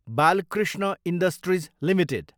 Balkrishna industries Ltd